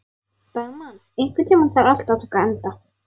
Dagmann, einhvern tímann þarf allt að taka enda.